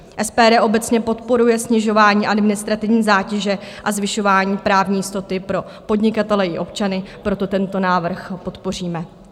SPD obecně podporuje snižování administrativní zátěže a zvyšování právní jistoty pro podnikatele i občany, proto tento návrh podpoříme.